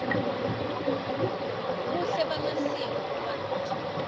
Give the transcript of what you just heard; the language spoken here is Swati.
buhle bemasiko bubanti